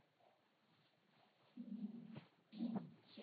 হম হম সেটাই,